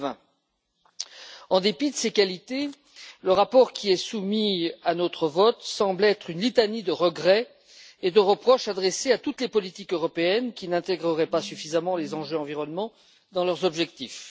2020. En dépit de ses qualités, le rapport qui est soumis à notre vote semble être une litanie de regrets et de reproches adressés à toutes les politiques européennes qui n'intégreraient pas suffisamment les enjeux environnementaux dans leurs objectifs.